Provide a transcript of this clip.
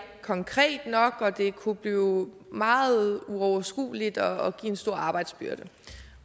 konkret nok og det kunne blive meget uoverskueligt og give en stor arbejdsbyrde